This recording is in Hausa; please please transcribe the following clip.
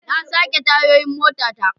Na sake tayoyin motata.